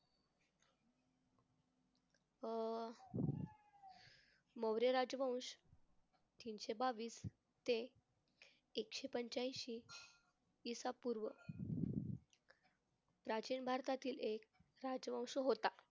अं मौर्य राजवंशी तीनशे बावीस ते एकशे पंच्याएंशी इ सा पूर्व, प्राचीन भारतातील एक राजवंश होता.